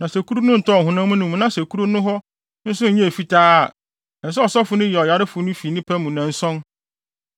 Na sɛ kuru no ntɔɔ ɔhonam no mu na sɛ kuru no hɔ nwi no nso nyɛɛ fitaa a, ɛsɛ sɛ ɔsɔfo no yi ɔyarefo no fi nnipa mu nnanson.